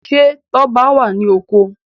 Ṣe Tóbi wá ní oko?